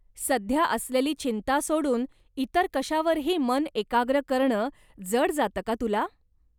सध्या असलेली चिंता सोडून इतर कशावरही मन एकाग्र करणं जड जातं का तुला?